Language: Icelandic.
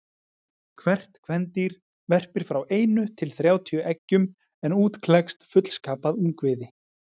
Hvert kvendýr verpir frá einu til þrjátíu eggjum en út klekst fullskapað ungviði.